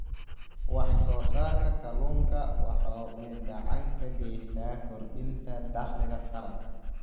Wax-soo-saarka kalluunka waxa uu gacan ka geystaa kordhinta dakhliga qaranka.